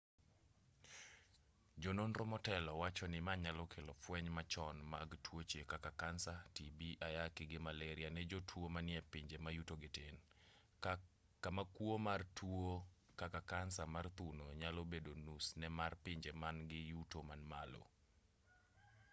jononro motelo wachoni ma nyalo kelo fweny machon mag tuoche kaka kansa tibi ayaki gi maleria ne jotuo manie epinje ma yutogi tin kama kuo mar tuo kaka kansa mar thuno nyalo bedo nus ne mar pinje man-gi yuto man malo